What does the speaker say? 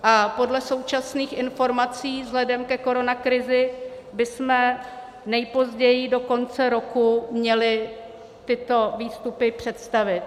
A podle současných informací vzhledem ke koronakrizi bychom nejpozději do konce roku měli tyto výstupy představit.